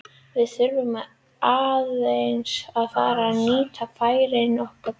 Við þurfum aðeins að fara að nýta færin okkar betur.